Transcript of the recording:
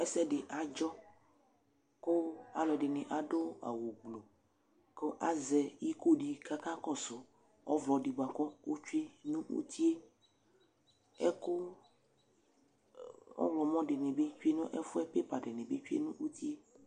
Ɛsɛdɩ adzɔ kʋ alʋɛdɩ adʋ awʋgblu kʋ azɛ iko dɩ kʋ akɔsʋ ɔvlɔ dɩ bʋa kʋ ɔtsue nʋ uti yɛ Ɛkʋ ɔɣlɔmɔ dɩ bɩ tsue nʋ ɛfʋ yɛ, pepa dɩnɩ bɩ tsue nʋ uti yɛ